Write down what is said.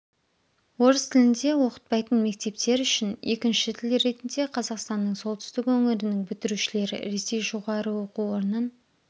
орыс тілінде оқытпайтын мектептер үшін екінші тіл ретінде қазақстанның солтүстік өңірінің бітірушілері ресей жоғары оқу орнын